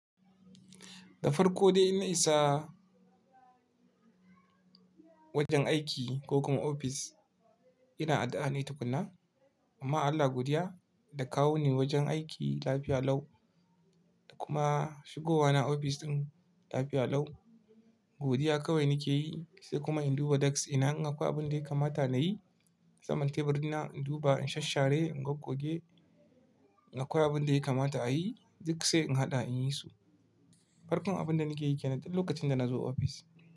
Da farko dai inna isa wajen aiki ko kuma ofis ina addu’a ne tukunna. Amma Allah godiya da ka kawo ni wajen aiki lafiya lau da kuma shigowa na ofis ɗin lafiya lau. Godiya kawai nike yi sai kuma in duba desk ina in a kwai abin da ya kamata nayi. Saman tebur ina in duba in shasshare, in gwoggoge, in ga ko abin da ya kamata a yi duk sai in haɗa in yi su. Farkon abin da nike yike nanduk lokacin da nazo ofis.